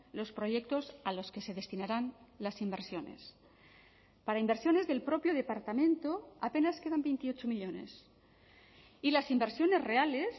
los proyectos a los que se destinarán las inversiones para inversiones del propio departamento apenas quedan veintiocho millónes y las inversiones reales